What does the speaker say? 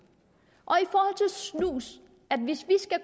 og snus